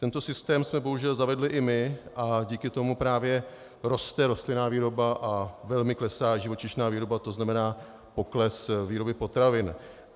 Tento systém jsme bohužel zavedli i my a díky tomu právě roste rostlinná výroba a velmi klesá živočišná výroba, to znamená pokles výroby potravin.